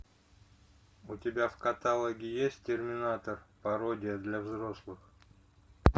у тебя в каталоге есть терминатор пародия для взрослых